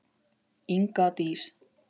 Inga Dís.